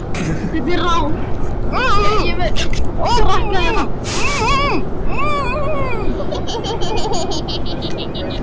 Pabbi var ekki eins sýnilegur og áður og virtist fjarlægari.